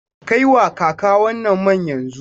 Kai wa kaka wannan man yanzu!